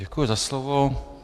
Děkuji za slovo.